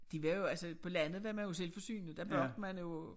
De var jo altså på landet var man jo selvforsynende der bagte man jo